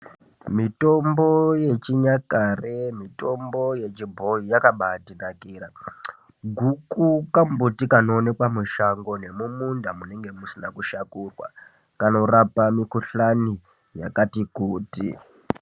Mitombo yechinyakare ,mitombo yechibhoyi yakabatinakira ,guku kambuti kanoonekwa mushango nemumunda munenge musina kushakurwa, kanorapa mukuhlani yakati kuti.